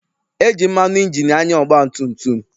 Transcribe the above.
E ji mmanụ ịnjini anya ọgbatumtum.